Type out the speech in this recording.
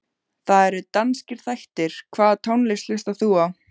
Það eru danskir þættir Hvaða tónlist hlustar þú á?